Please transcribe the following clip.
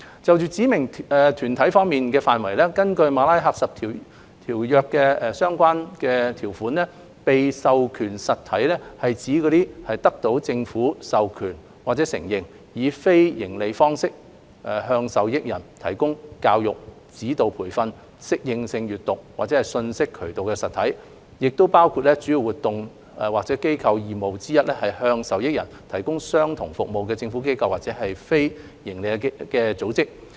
有關指明團體的範圍，根據《馬拉喀什條約》的相關條款，被授權實體是指得到政府授權或承認，以非營利方式向受益人提供教育、指導培訓、適應性閱讀或信息渠道的實體，亦包括主要活動或機構義務之一是向受益人提供相同服務的政府機構或非營利組織。